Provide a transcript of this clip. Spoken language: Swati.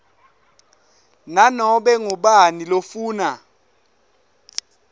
nanobe ngubani lofuna